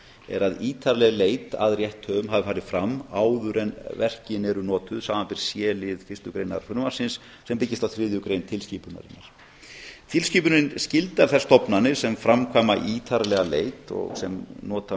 er að ítarleg leit að rétthöfum hafi farið fram áður en verkin eru notuð samanber c lið fyrstu greinar sem byggist á þriðju grein tilskipunarinnar tilskipunin skyldar þær stofnanir sem framkvæma ítarlega leit og sem nota